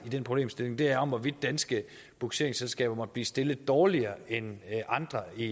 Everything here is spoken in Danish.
i den problemstilling der er hvorvidt danske bugseringsselskaber måtte blive stillet dårligere end andre i